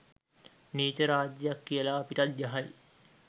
නීච රාජ්‍යක් කියලා අපිටත් ගහයි.